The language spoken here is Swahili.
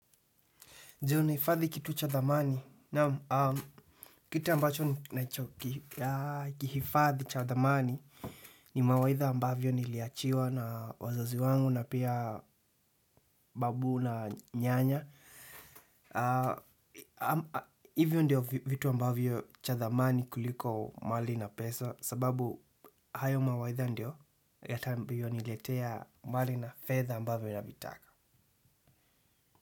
Je unahifadhi kitu cha dhamani. Na kita ambacho ni kihifadhi cha dhamani ni mawaidha ambavyo niliachiwa na wazazi wangu na pia babu na nyanya. Hivyo ndiyo vitu ambavyo cha dhamani kuliko mali na pesa sababu hayo mawaidha ndiyo yata ambayo niletea mali na fedha ambavyo navitaka.